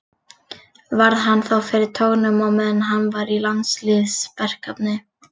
Varð hann þá fyrir tognun á meðan hann var í landsliðsverkefni.